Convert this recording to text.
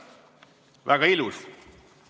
Väga ilus!